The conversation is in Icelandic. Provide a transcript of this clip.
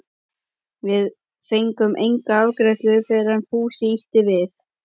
Við fengum enga afgreiðslu fyrr en Fúsi ýtti við